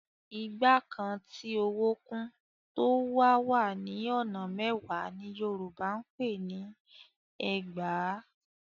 Igba kan tí owó kún, tó wá wà ní ọ̀nà mẹ́wàá ni Yorùbá ń pè ni ẹgbàá.